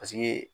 Paseke